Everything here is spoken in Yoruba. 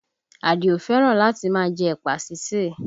Adio fẹ́ràn láti máa jẹ ẹ̀pà sísè